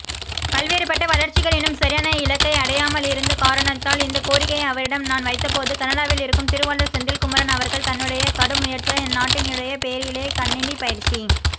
பல்வேறுபட்டவளர்ச்சிகள் இன்னும் சரியான இலக்கைஅடையாமலிருந்தகாரணத்தால் இந்தகோரிக்கையைஅவரிடம் நான் வைத்தபோதுகனடாவில் இருக்கும் திருவாளர் செந்தில்குமரன் அவர்கள்தன்னுடையகடும் முயற்சியால் அந் நாட்டினுடையபெயரிலேகணினிபயிற்சி